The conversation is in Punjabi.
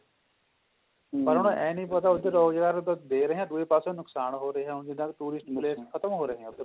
ਪਰ ਉਹਨਾਂ ਨੂੰ ਐਂ ਨਹੀਂ ਪਤਾ ਉਧਰ ਰੋਜਗਾਰ ਉਹਨਾਂ ਨੂੰ ਦੇ ਰਹੇ ਹਾਂ ਦੂਏ ਪੱਸੇ ਨੁਕਸਾਨ ਹੋ ਰਹੇ ਹੈ ਹੁਣ ਜਿੰਨਾ ਦੇ tourist place ਖਤਮ ਹੋ ਰਹੇ ਹੈ ਉੱਥੇ